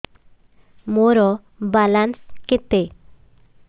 ମୋର ବାଲାନ୍ସ କେତେ